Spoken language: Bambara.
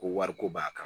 Ko wariko b'a kan